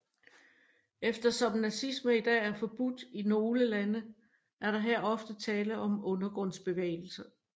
Eftersom nazisme i dag er forbudt i nogle lande er der her ofte tale om undergrundsbevægelser